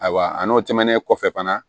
Ayiwa an n'o tɛmɛnen kɔfɛ fana